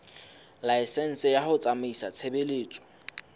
laesense ya ho tsamaisa tshebeletso